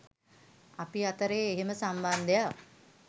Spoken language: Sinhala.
අපි අතරේ එහෙම සම්බන්ධයක්